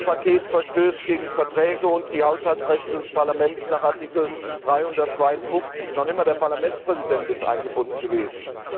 Das Rettungspaket verstößt gegen Verträge und gegen die Haushaltsrechte des Parlaments nach Artikel 352. Noch nicht einmal der Parlamentspräsident ist eingebunden gewesen.